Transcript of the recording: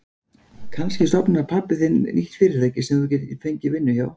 Kannski stofnar pabbi þinn nýtt fyrirtæki sem þú getur fengið vinnu hjá.